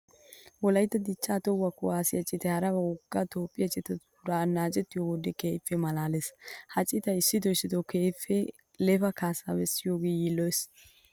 Wolaytta dichchaa toho kuwaasiya citay hara wogga toophphiya citatuura annaacettiyo wode keehippe maalaalees. Ha citay issitoo issitoo qassi keehippe lefa kaassaa bessiyogan yiilloyees.